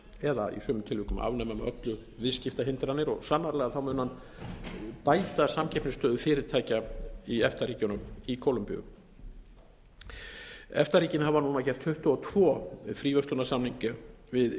eða í sumum tilvikum afnema með öllu viðskiptahindranir og sannarlega mun hann bæta samkeppnisstöðu fyrirtækja í efta ríkjunum í kólumbíu efta ríkin hafa núna gert tuttugu og tvö fríverslunarsamninga við